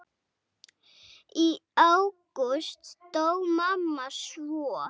Í ágúst dó mamma svo.